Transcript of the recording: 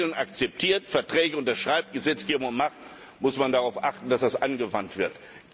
Wenn man Regeln akzeptiert, Verträge unterschreibt, Gesetzgebung macht, muss man darauf achten, dass das angewandt wird.